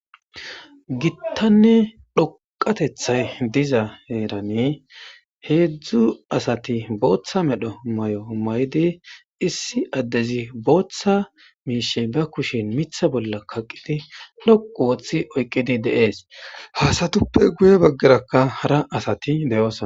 gittanne dhoqatethay diza heerane heedzdzu asati booththa medho may7o may7di issi addezi booththa miishe ba kushin mitha bolla kaqqidi loqu woththi oyqqidi deees haasatuppe guye baggerakka hara asati deyoos